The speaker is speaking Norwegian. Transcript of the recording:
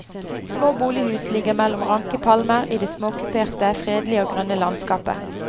Små bolighus ligger mellom ranke palmer i det småkuperte, fredelige og grønne landskapet.